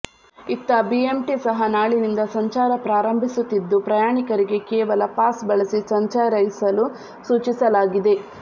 ಇತ್ತ ಬಿಎಂಟಿ ಸಹ ನಾಳಿನಿಂದ ಸಂಚಾರ ಪ್ರಾರಂಭಿಸುತ್ತಿದ್ದು ಪ್ರಯಾಣಿಕರಿಗೆ ಕೇವಲ ಪಾಸ್ ಬಳಸಿ ಸಂಚರೈಸಲು ಸೂಚಿಸಲಾಗಿದೆ